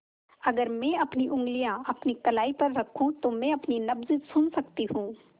अगर मैं अपनी उंगलियाँ अपनी कलाई पर रखूँ तो मैं अपनी नब्ज़ सुन सकती हूँ